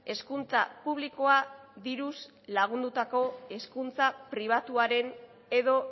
hezkuntza publikoa diruz lagundutako hezkuntza pribatuaren edo